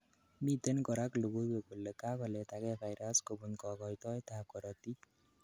miten korak logoiwek kole kakoletagei virus kobun kogoitoet ab korotik